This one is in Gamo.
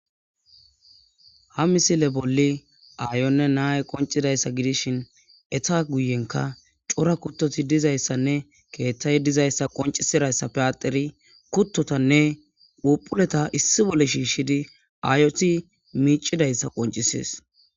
ha misile bolli aayonne naaye qoncidayssa gidishin etha guyenka cora kuttoti dizayssanne keeththay dizayssa qoncisirayssa peyateri kuttotanne phuphuleta issi bolle shiishshidi aayoti miicidayssa qoncisees.